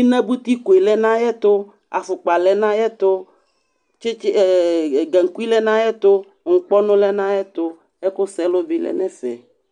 Inabuitiko yɛ lɛ nʋ ayɛtʋ Afʋkpa lɛ nʋ ayɛtʋ tsɩtsɩ ɛ gankui lɛ nʋ ayɛtʋ nʋ ŋkpɔnʋ lɛ nʋ ayɛtʋ Ɛkʋsɛlʋ bɩ lɛ nʋ ɛfɛ